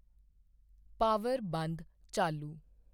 power ਬੰਦ ਚਾਲੂ